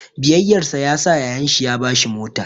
Biyayyarsa yasa yayan shi ya ba shi mota.